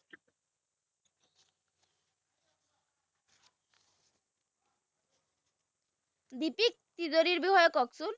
দিতিক তিজোৰিৰ বিষয়ে ককচোন